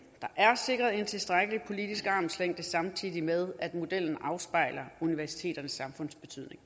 der er sikret en tilstrækkelig politisk armslængde samtidig med modellen afspejler universiteternes samfundsbetydning